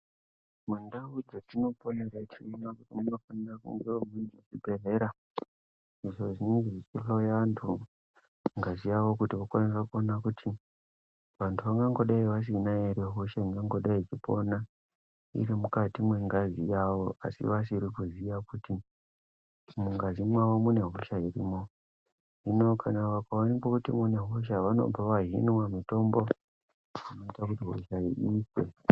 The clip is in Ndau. Mundau dzatinoponera tinoona kuti munofanira kungewo muine zvibhedhlera izvo zvinenge zvichihloya vantu ngazi yavo. Kuti vakwanise kuona kuti vantu vangangodai vasina here hosha ingangodai ichipona iri mukati mwengazi yavo asi vasiri kuziya kuti mukati mavo mune hosha irimwo. Hino kana vakaonekwa kuti munehosha vanobva vahinwa mutombo inoita kuti hosha iyi ife.